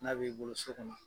N'a b'i bolo so kɔnɔ.